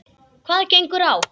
Hvað gengur á!